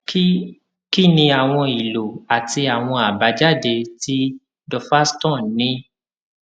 kí kí ni àwọn ìlo àti àwọn àbájáde tí duphaston ní